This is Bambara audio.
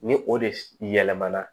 Ni o de yɛlɛmana